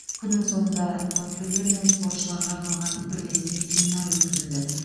күннің соңында бапкерлер мен спортшыларға арналған бірлескен семинар өткізілді